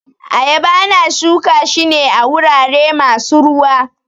Ayaba ana shuka shi ne a wurare masu ruwa